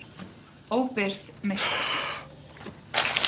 Óbirt meistararitgerð.